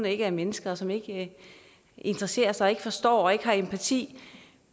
ikke er mennesker og som ikke interesserer sig ikke forstår og ikke har empati